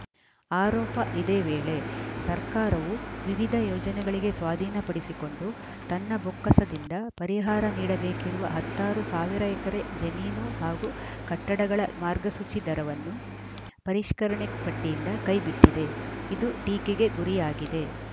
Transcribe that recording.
ಆರೋಪ ಇದೇ ವೇಳೆ ಸರ್ಕಾರವು ವಿವಿಧ ಯೋಜನೆಗಳಿಗೆ ಸ್ವಾಧೀನಪಡಿಸಿಕೊಂಡು ತನ್ನ ಬೊಕ್ಕಸದಿಂದ ಪರಿಹಾರ ನೀಡಬೇಕಿರುವ ಹತ್ತಾರು ಸಾವಿರ ಎಕರೆ ಜಮೀನು ಹಾಗೂ ಕಟ್ಟಡಗಳ ಮಾರ್ಗಸೂಚಿ ದರವನ್ನು ಪರಿಷ್ಕರಣೆ ಪಟ್ಟಿಯಿಂದ ಕೈ ಬಿಟ್ಟಿದೆ ಇದು ಟೀಕೆಗೆ ಗುರಿಯಾಗಿದೆ